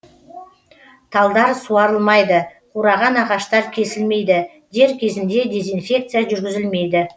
талдар суарылмайды қураған ағаштар кесілмейді дер кезінде дизенфекция жүргізілмейді